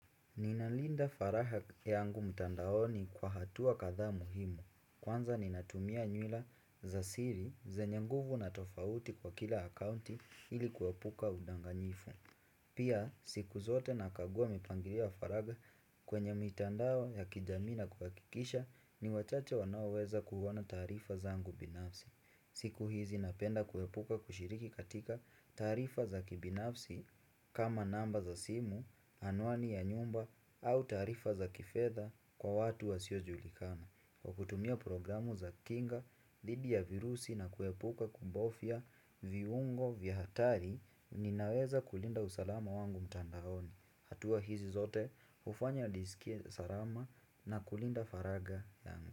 Ninalinda faraha yangu mtandaoni kwa hatua kadha muhimu. Kwanza ninatumia nywila za siri zenye nguvu na tofauti kwa kila akaunti ili kuwepuka udanganyifu. Pia siku zote na kagua mipangilio ya faraga kwenye mitandao ya kijamii na kuhakikisha ni wachache wanaoweza kuuona taarifa zangu binafsi. Siku hizi napenda kuepuka kushiriki katika taarifa za kibinafsi kama namba za simu, anwani ya nyumba au taarifa za kifedha kwa watu wasiojulikana. Kwa kutumia programu za kinga, dhidi ya virusi na kuepuka kubofya viungo vya hatari, ninaweza kulinda usalama wangu mtandaoni. Hatua hizi zote, hufanya nisikie sarama na kulinda faraga yangu.